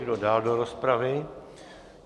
Kdo dál do rozpravy?